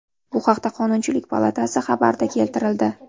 Bu haqda Qonunchilik palatasi xabarida keltirildi .